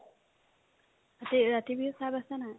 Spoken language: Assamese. আছে ৰাতি বিহুত ভাত আছেনে নাই ?